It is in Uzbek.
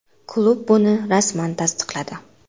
Klub buni rasman tasdiqladi.